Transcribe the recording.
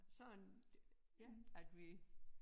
Sådan ja at vi